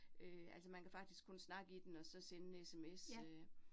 Øh altså man kan faktisk kun snakke i den, og så sende sms øh